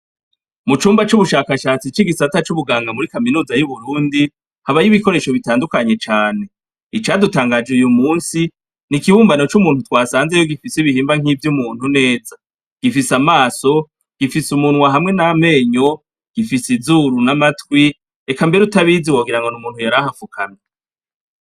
Mu cumba c'ubushakashatsi c'igisata c'ubuganga muri kaminuza y'uburundi habayo ibikoresho bitandukanye cane icadutangaje uyu musi ni ikibumbano c'umuntu twasanzeyo gifise ibihimba nk'ivyo umuntu neza gifise amaso gifise umuntwa hamwe n'amenyo gifise izuru n'amatwi eka mbere utabizi wogira ngo ni umuntu yaraa afukami.